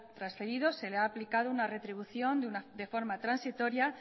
transferido se le ha aplicado una retribución de forma transitoria